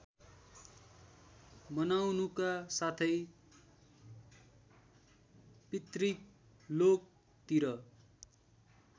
बनाउनुका साथै पितृलोकतिर